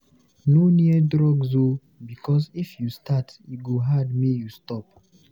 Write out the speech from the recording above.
No near drugs o because if you start e go hard make you stop.